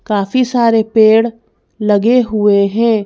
काफी सारे पेड़ लगे हुए हैं।